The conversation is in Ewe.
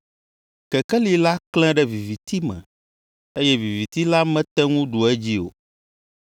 Kekeli la klẽ ɖe viviti me, eye viviti la mete ŋu ɖu edzi o.